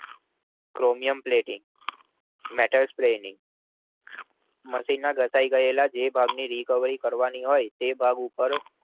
ક્રોમિયન plating Metal Spelling મશીનના ઘસાય ગયેલા જે ભાગ ની recovery કરવાની હોય તે ભાગ ઉપર